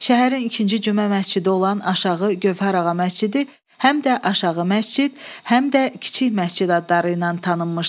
Şəhərin ikinci Cümə məscidi olan aşağı Gövhər ağa məscidi həm də aşağı məscid, həm də kiçik məscid adları ilə tanınmışdı.